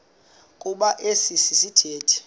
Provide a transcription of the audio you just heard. kuba esi sithethe